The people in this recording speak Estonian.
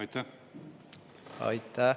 Aitäh!